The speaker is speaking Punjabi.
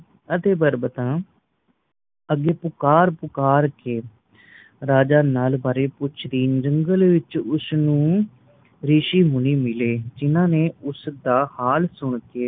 ਤੇ ਬਰਬਤਾ ਅੱਗੇ ਪੁਕਾਰ ਪੁਕਾਰ ਕੇ ਰਾਜਾ ਨੱਲ ਬਾਰੇ ਪੁੱਛਦੀ ਜੰਗਲ ਵਿੱਚ ਉਸਨੂੰ ਰਿਸ਼ੀ ਮੁਨੀ ਮਿਲ਼ੇ ਜਿੰਹਨਾਂ ਨੇ ਉਸਦਾ ਹਾਲ ਸੁਣ ਕੇ